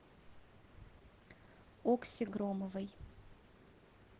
окси громовой